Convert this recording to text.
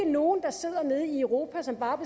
nogen der sidder nede i europa som bare